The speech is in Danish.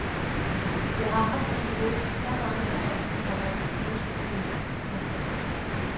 Jeg har haft det i hovedet i så mange år, komma og nu skal det ud. punktum